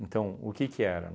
Então, o que que era?